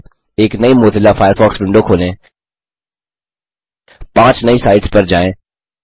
एक नई Mozilla Firefox window खोलें पांच नई साइट्स पर जाएं